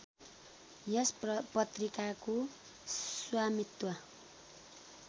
यस पत्रिकाको स्वामित्व